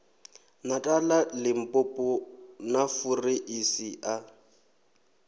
natala limpopo na fureisi a